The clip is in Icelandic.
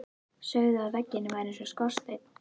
Sögðu að veggirnir væru eins og skorsteinn.